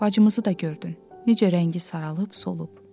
Bacımızı da gördün, necə rəngi saralıb solub.